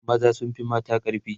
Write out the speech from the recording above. maza sun Fi mata ƙarfi